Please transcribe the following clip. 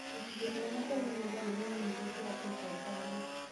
gĩcunjĩ kĩnene kĩa mĩgũnda nĩ mĩnini gũkĩra ĩka ithano